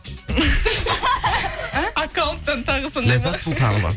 аккаунттан тағы сондай ма ләззат сұлтанова